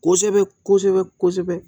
Kosɛbɛ kosɛbɛ